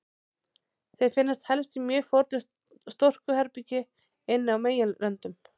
Þeir finnast helst í mjög fornu storkubergi inn á meginlöndum.